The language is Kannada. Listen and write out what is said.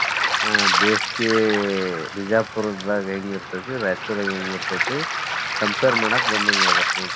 ಆ ಬೇಸಿಗೆ ಬಿಜಾಪುರದಾಗ ಹೆಂಗ್ ಇರ್ತೇತಿ, ರಾಯಚೂರುದಾಗ್ ಹೆಂಗ್ ಇರ್ತೇತಿ compare ಮಾಡಕ್ ಬಂದಂಗ್ ಆಗತ್ತ ನೋಡ್ರಿ.